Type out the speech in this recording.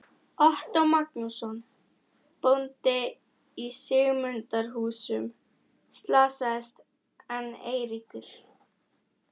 Ottó Magnússon, bóndi í Sigmundarhúsum, slasaðist en Eiríkur